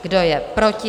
Kdo je proti?